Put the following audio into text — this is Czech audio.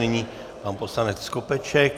Nyní pan poslanec Skopeček.